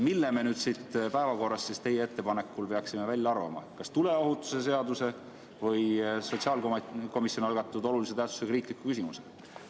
Mille me nüüd siit päevakorrast teie ettepanekul peaksime välja arvama, kas tuleohutuse seaduse või sotsiaalkomisjoni algatatud olulise tähtsusega riikliku küsimuse?